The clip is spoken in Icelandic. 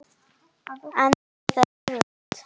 En það er erfitt.